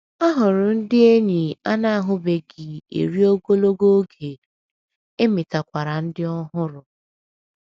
A hụrụ ndị enyi a na - ahụbeghị eri ogologo oge, e metakwara ndị ọhụrụ.